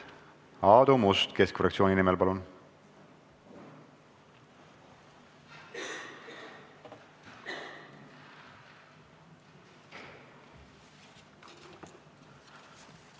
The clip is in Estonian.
Aadu Must Keskerakonna fraktsiooni nimel, palun!